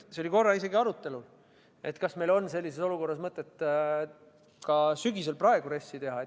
See oli korra isegi arutelul, kas meil on sellises olukorras mõtet ka sügisel, praegu, RES-i teha.